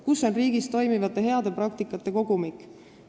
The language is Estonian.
Kus on riigis toimivate heade praktikate kogumik?